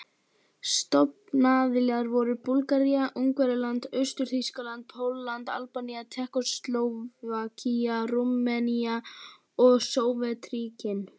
Stofnaðilar voru Búlgaría, Ungverjaland, Austur-Þýskaland, Pólland, Albanía, Tékkóslóvakía, Rúmenía og Sovétríkin.